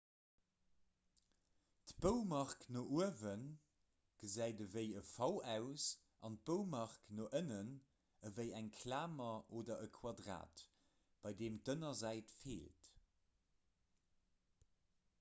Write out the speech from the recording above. d'"boumark no uewe gesäit ewéi e v aus an d'"boumark no ënnen ewéi eng klamer oder e quadrat bei deem d'ënnersäit feelt